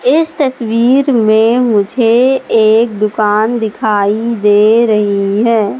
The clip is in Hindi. इस तस्वीर में मुझे एक दुकान दिखाई दे रही है।